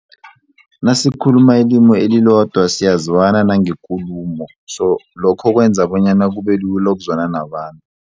Nasikhuluma ilimu elilodwa siyazwana nangekulumo so lokho kwenza bonyana kubelula ukuzwana nabantu.